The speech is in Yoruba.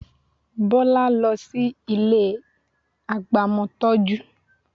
Bọ́lá lọ sí ilé agbamọtọ́jú